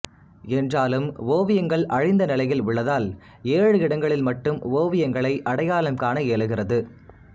என்றாலும் ஓவியங்கள் அழிந்த நிலையில் உள்ளதால் ஏழு இடங்களில் மட்டும் ஓவியங்களை அடையாளம் காண இயலுகிறது